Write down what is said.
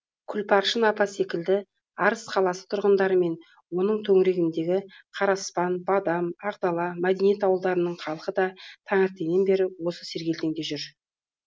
күлпаршын апа секілді арыс қаласы тұрғындары мен оның төңірегіндегі қараспан бадам ақ дала мәдениет ауылдарының халқы да таңертеңнен бері осы сергелдеңде жүр